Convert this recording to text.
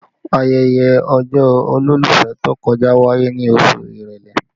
Ayẹyẹ ọjọ́ olólùfẹ́ tó kọjá wáyé ní oṣù èrèlé